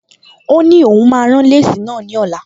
Ó ní òun máa rán léèsì náà ní ọ̀la